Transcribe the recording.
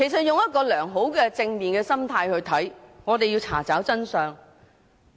從良好及正面的心態來看，我們是要查找真相。